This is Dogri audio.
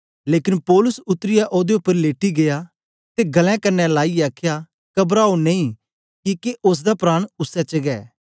लेकन पौलुस उतरीयै ओदे उपर लेटी गीया ते गल्लें क्न्ने लाईयै आखया कबराओ नेई किके ओसदा प्राण उसै च गै